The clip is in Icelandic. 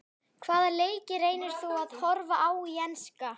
Hvaða leiki reynir þú að horfa á í enska?